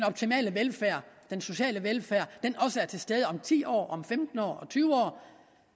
optimale velfærd den sociale velfærd også er til stede om ti år om femten år om tyve år